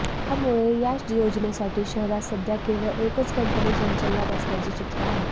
त्यामुळे या योजनेसाठी शहरात सध्या केवळ एकच कंपनी संचलनात असल्याचे चित्र आहे